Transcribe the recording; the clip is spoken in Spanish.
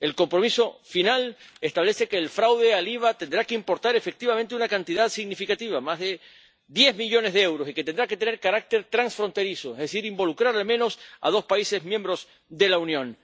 El compromiso final establece que el fraude al IVA tendrá que importar efectivamente una cantidad significativa —más de 10 millones de euros— y que tendrá que tener carácter transfronterizo, es decir, involucrar al menos a dos Estados miembros de la Unión.